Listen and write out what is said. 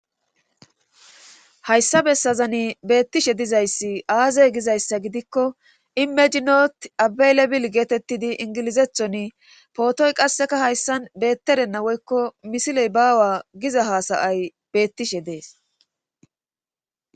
Hayssa bessazani beettishe dizayssi aazey gizayssa gidikko imejinot abeelebil geetettidi ingilizethoni pootoy qasseka hayssan beettedenna woykko misiley baawa giza hasayay beettishe dees.